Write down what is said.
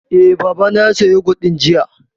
Eh, Baba na ya saya yogut ɗin jiya